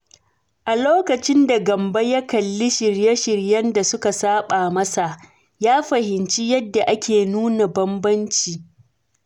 A lokacin da Gambo ya kalli shirye-shiryen da suka saɓa masa, ya fahimci yadda ake nuna bambanci.